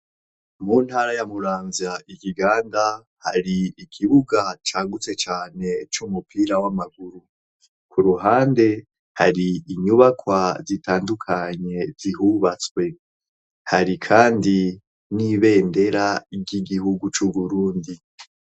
mu ntara ya muranza ikiganda hari ikibuga cangutse cane c'umupira w'amaguru ku ruhande hari inyubakwa zitandukanye zihubatswe hari kandi n'ibendera ry'igihugu c'uburundi